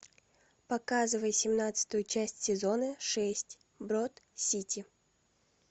показывай семнадцатую часть сезона шесть брод сити